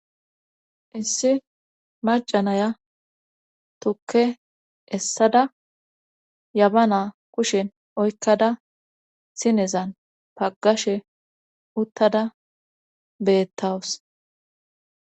Issi macanaya tukke essada yaba na kushen oykkada sinezan paggashe uttada beettawus.